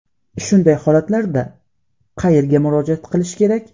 Shunday holatlarda qayerga murojaat qilish kerak?